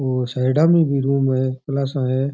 और सायडा मे भी रूम है क्लासा है।